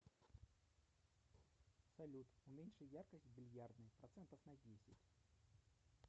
салют уменьши яркость в бильярдной процентов на десять